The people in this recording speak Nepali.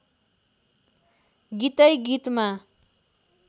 गीतै गीतमा